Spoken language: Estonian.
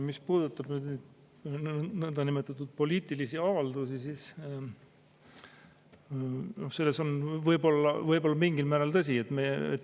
Mis puudutab nõndanimetatud poliitilisi avaldusi, siis see on võib-olla mingil määral tõsi.